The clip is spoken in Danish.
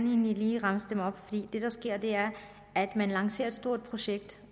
lige remse den op det der sker er at man lancerer et stort projekt